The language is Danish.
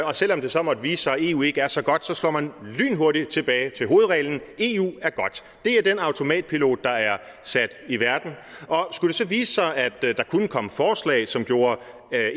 og selv om det så måtte vise sig at eu ikke er så godt slår man lynhurtigt tilbage til hovedreglen nemlig at eu er godt det er den automatpilot der er sat i verden og skulle det så vise sig at der kunne komme forslag som gjorde